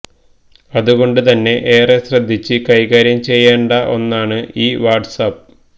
അതുകൊണ്ട് തന്നെ ഏറെ ശ്രദ്ധിച്ച് കൈക്കാര്യം ചെയ്യേണ്ട ഒന്നാണ് ഈ വാട്സ് ആപ്പ്